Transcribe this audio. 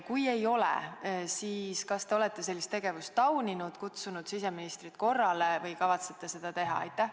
Kui ei ole, siis kas te olete sellist tegevust tauninud ja kutsunud siseministrit korrale või kavatsete seda teha?